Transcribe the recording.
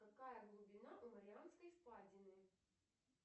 какая глубина у марианской впадины